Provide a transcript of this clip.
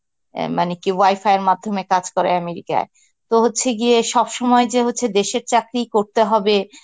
অ্যাঁ মানে কি wi-fi এর মাধ্যমে কাজ করে America য়ে. তো হচ্ছে গিয়ে সব সময় যে হচ্ছে দেশের চাকরিই করতে হবে